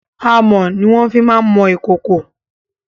Amọ̀ ni wọ́n fi má ń mọ ìkòkò.